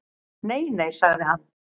Nei nei, sagði hann.